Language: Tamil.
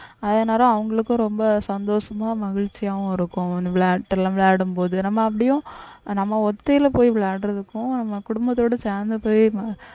அதனால அவங்களுக்கும் ரொம்ப சந்தோஷமா மகிழ்ச்சியாவும் இருக்கும் அந்த விளையாட்டெல்லாம் விளையாடும்போது நம்ம அப்படியும் நம்ம ஒத்தையில போய் விளையாடுறதுக்கும் நம்ம குடும்பத்தோட சேர்ந்து போய்